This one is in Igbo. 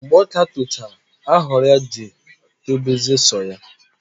Mgbe ọka tochara aghọrọ ya ji etobezie sọ ya.